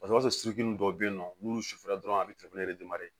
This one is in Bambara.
Paseke o b'a sɔrɔ sunsun dɔw be yen nɔ n'olu sufɛ dɔrɔn a be